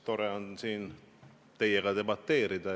Tore on siin teiega debateerida.